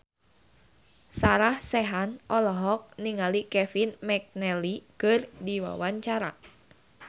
Sarah Sechan olohok ningali Kevin McNally keur diwawancara